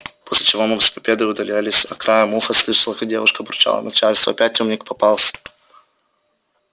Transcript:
после чего мы с победой удалялись а я краем уха слышала как девушка бурчала начальству опять умник попался